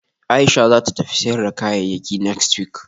Aisha zata tafi sayar da kayayyakinext week